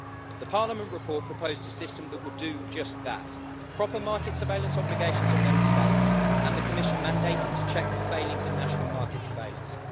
The Parliament report proposed a system that would do just that proper market surveillance obligations on Member States, and the Commission mandated to check for failings in national market surveillance